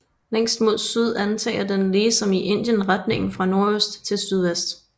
Længst mod syd antager den lige som i Indien retningen fra nordøst til sydvest